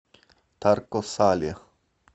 тарко сале